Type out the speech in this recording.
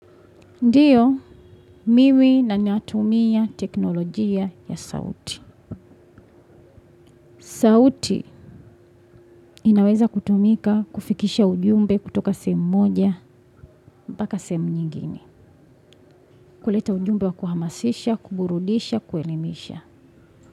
Ndio, mimi natumia teknolojia ya sauti. Sauti inaweza kutumika kufikisha ujumbe kutoka sehemu moja, mpaka sehemu nyingine. Kuleta ujumbe wa kuhamasisha, kuburudisha, kuelimisha.